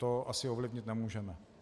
To asi ovlivnit nemůžeme.